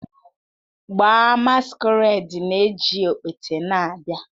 Gbaa, masquerade na-eji okpete na-abịa